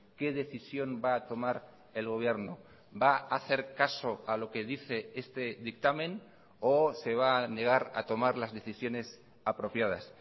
qué decisión va a tomar el gobierno va a hacer caso a lo que dice este dictamen o se va a negar a tomar las decisiones apropiadas